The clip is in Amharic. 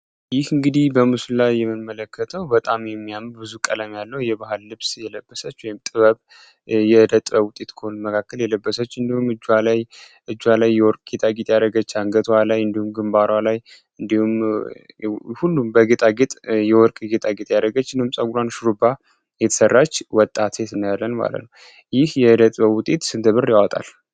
እንግዲህ በምስሉ ላይ የምንመለከተው በጣም የሚያምር ብዙ ቀለም ያለው የባህል ልብስ የለበሰች ወይም ከጥበብ መካከል በወርቅ ያጌጠች አንገቷ ላይ እንዲሁም ግንባሩ ላይ እንዲሁም የወርቅ ጌጥ ያደረገ የተሰራች ወጣት ሴት ይህ ጌጥ ያወጣል።